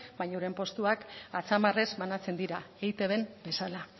baina euren postuak atzamarrez banatzen dira eitbn bezala